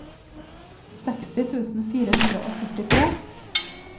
seksti tusen fire hundre og førtitre